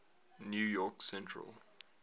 new york central